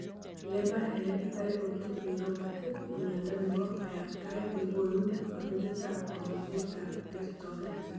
Leber hereditary optic neuropathy ko miondo nebo kayaptaet nekonu kabetetab kamugetab kertoet